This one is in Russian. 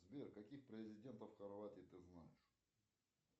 сбер каких президентов хорватии ты знаешь